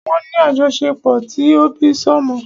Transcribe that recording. Wọ́n ní àjọṣepọ̀ ti òbísọ́mọ.